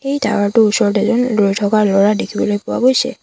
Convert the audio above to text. এই টাৱাৰ টোৰ ওচৰত এজন ৰৈ থকা ল'ৰা দেখিবলৈ পোৱা গৈছে।